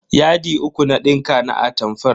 Yadi uku na dinka na atamfar.